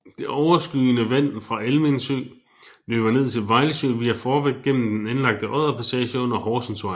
Det overskydende vand fra Almindsø løber ned til Vejlsø via Fårbæk gennem den anlagte odderpassage under Horsensvej